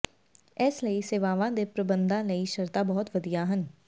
ਇਸ ਲਈ ਸੇਵਾਵਾਂ ਦੇ ਪ੍ਰਬੰਧਾਂ ਲਈ ਸ਼ਰਤਾਂ ਬਹੁਤ ਵਧੀਆ ਹਨ